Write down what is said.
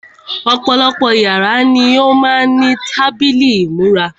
Ọ̀pọ̀lọpọ̀ yàrá ni ó má ń ní tábìlì ìmúra.